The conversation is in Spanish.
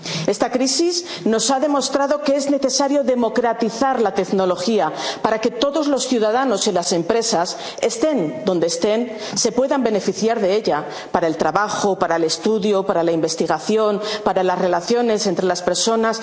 Esta crisis nos ha demostrado que es necesario democratizar la tecnología para que todos los ciudadanos y las empresas, estén donde estén, se puedan beneficiar de ella para el trabajo, para el estudio, para la investigación, para las relaciones entre las